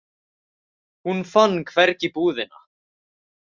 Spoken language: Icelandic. Hún fann hvergi búðina.